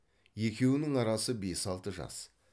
екеуінің арасы бес алты жас